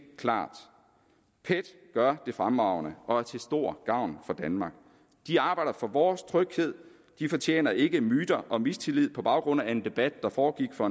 klart pet gør det fremragende og er til stor gavn for danmark de arbejder for vores tryghed de fortjener ikke myter og mistillid på baggrund af en debat der foregik for